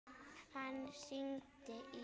Hann hringdi í